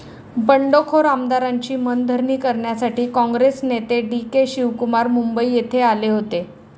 बंडखोर आमदारांची मनधरणी करण्यासाठी काँग्रेस नेते डी. के शिवकुमार मुंबई येथे आले होते.